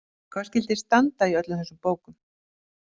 Hvað skyldi standa í öllum þessum bókum?